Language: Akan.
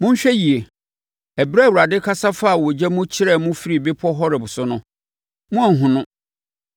Monhwɛ yie! Ɛberɛ a Awurade kasa faa ogya mu kyerɛɛ mo firi bepɔ Horeb so no, moanhunu no.